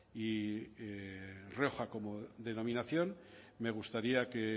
y rioja como denominación me gustaría que